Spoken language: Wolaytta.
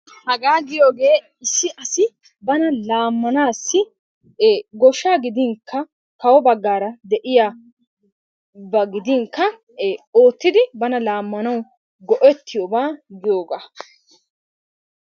Hagaa giyoogee issi asi bana laamanaassi ee goshshaa gidinkka kawo baggaara de'iyaba gidinkka ee oottiidi laamanawu go'ettiyobaa giyogaa.